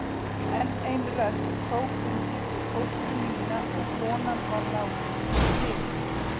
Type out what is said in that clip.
Enn ein rödd tók undir við fóstru mína og konan var látin í friði.